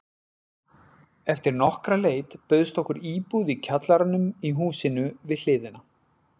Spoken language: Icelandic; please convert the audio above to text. Eftir nokkra leit bauðst okkur íbúð í kjallaranum í húsinu við hliðina.